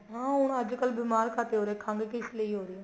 ਹਾਂ ਹੁਣ ਅੱਜਕਲ ਬੀਮਾਰ ਘੱਟ ਹੀ ਹੋ ਰਹੇ ਹੈ ਖੰਗ ਵੀ ਇਸ ਲਈ ਹੋ ਰਹੀ ਏ